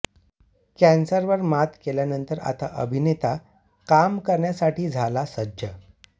कॅन्सरवर मात केल्यानंतर आता हा अभिनेता काम करण्यासाठी झाला सज्ज